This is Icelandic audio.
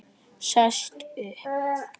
Sest upp.